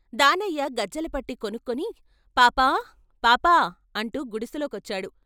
దానయ్య గజ్జల పట్టి కొనుక్కొని పాప పాప అంటూ గుడిసెలోకి వచ్చాడు.